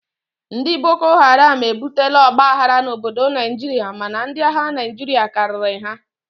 Ndị bokoharam ebutela ọgba aghara n'obodo Naijiria mana ndi agha Naijiria karịrị ha